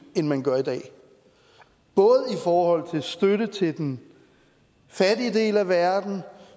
end man gør i dag både i forhold til støtte til den fattige del af verden